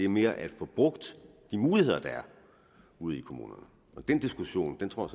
mere at få brugt de muligheder der er ude i kommunerne og den diskussion tror